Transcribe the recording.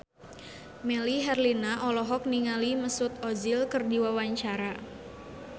Melly Herlina olohok ningali Mesut Ozil keur diwawancara